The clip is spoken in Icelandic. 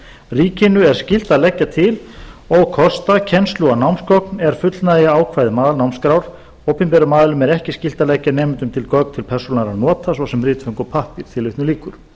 ríkinu er skylt að leggja til og kosta kennslu og námsgögn er fullnægja ákvæðum aðalnámskrár opinberum aðilum er ekki skylt að leggja nemendum til gögn til persónulegra nota svo sem ritföng og pappír tilvitnun lýkur